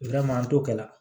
an to kɛ la